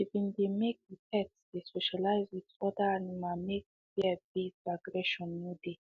she been dey make the pet dey socialize with other animals make fear based aggression no dey